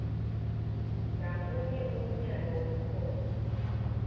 ngamunye umyalo wekhotho